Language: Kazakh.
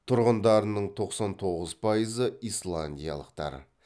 тұрғындарының тоқсан тоғыз пайызы исландиялықтар